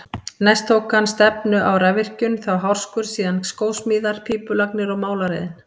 Næst tók hann stefnu á rafvirkjun, þá hárskurð, síðan skósmíðar, pípulagnir og málaraiðn.